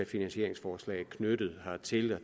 finansieringsforslag knyttet hertil det